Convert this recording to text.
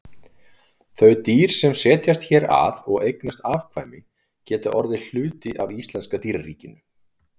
Þau dýr sem setjast hér að og eignast afkvæmi geta orðið hluti af íslenska dýraríkinu.